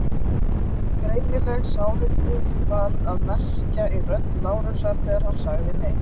Greinileg sárindi var að merkja í rödd Lárusar þegar hann sagði: Nei.